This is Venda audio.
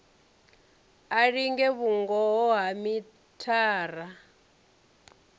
a linge vhungoho ha mithara